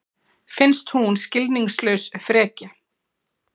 Finnst hún skilningslaus frekja.